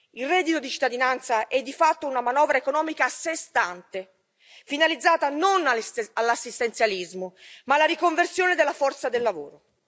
Il reddito di cittadinanza è di fatto una manovra economica a sé stante, finalizzata non all'assistenzialismo ma alla riconversione della forza del lavoro.